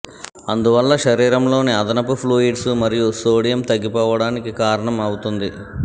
అందువల్ల శరీరంలోని అదనపు ఫ్లూయిడ్స్ మరియు సోడియం తగ్గిపోవడానికి కారణం అవుతుంది